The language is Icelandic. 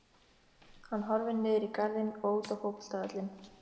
Hann horfir niður í garðinn og út á fótboltavöllinn.